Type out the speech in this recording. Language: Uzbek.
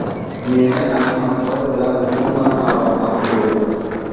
Meni Ahmadboy bilan umuman aloqam yo‘q.